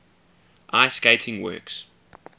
ice skating works